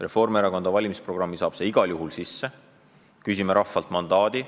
Reformierakonna valimisprogrammi saab see igal juhul sisse, küsime rahvalt mandaadi.